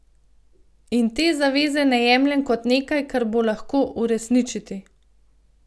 In te zaveze ne jemljem kot nekaj, kar bo lahko uresničiti.